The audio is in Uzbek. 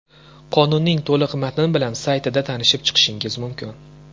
Qonunning to‘liq matni bilan saytida tanishib chiqishingiz mumkin.